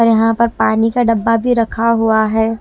और यहां पर पानी का डब्बा भी रखा हुआ है।